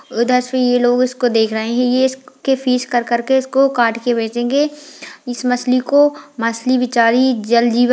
उधर से ये लोग उसको देख रहें हैं ये इसके पीस कर-कर के इसको काट के बेचेंगे इस मछली को मछली बेचारी जल जीव --